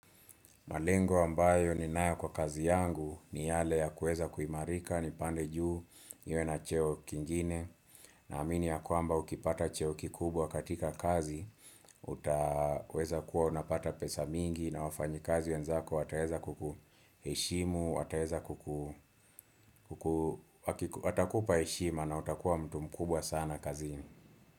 Malengo ambayo ni nayo kwa kazi yangu ni yale ya kuweza kuimarika, ni pande juu, niwe na cheo kingine, naamini ya kwamba ukipata cheo kikubwa katika kazi, utaweza kuwa unapata pesa mingi na wafanyi kazi ya nzako, wataweza kuku heshimu, wataweza kuku, watakupa heshima na utakuwa mtu mkubwa sana kazi.